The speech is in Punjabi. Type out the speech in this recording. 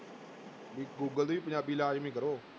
ਵੀ ਗੂਗਲ ਤੇ ਵੀ ਪੰਜਾਬੀ ਲਾਜ਼ਮੀ ਕਰੋ।